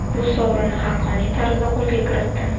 Bu sovrinni haqqoniy tarzda qo‘lga kiritdim.